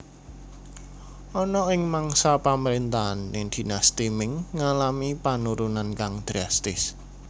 Ana ing mangsa pamrentahane Dinasti Ming ngalami penurunan kang drastis